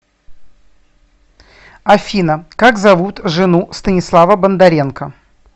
афина как зовут жену станислава бондаренко